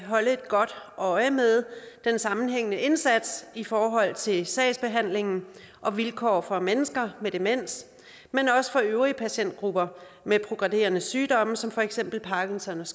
holde godt øje med den sammenhængende indsats i forhold til sagsbehandlingen og vilkår for mennesker med demens men også øvrige patientgrupper med progredierende sygdomme som for eksempel parkinsons